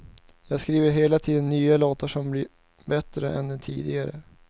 Jag skriver hela tiden nya låtar som blir bättre än de tidigare.